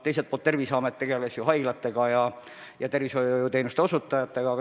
Teiselt poolt ju Terviseamet tegeles haiglatega ja muude tervishoiuteenuste osutajatega.